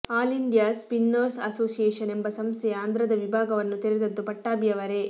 all India spinners association ಎಂಬ ಸಂಸ್ಥೆಯ ಆಂಧ್ರದ ವಿಭಾಗವನ್ನು ತೆರೆದದ್ದು ಪಟ್ಟಾಭಿಯವರೇ